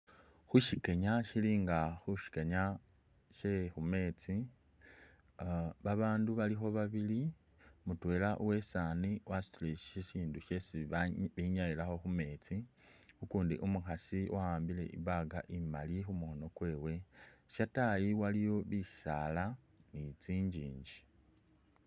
Khushikenya khuli nga khushikenya she khumesti babandu balikho babili, mutwela uwesani wasutile shishindu shesi benyayilakho khu’mestsi ukundi umukhasi wa’ambile i’bag imali khumukhono kwewe shatayi waliyo bisala ni tsinyinji .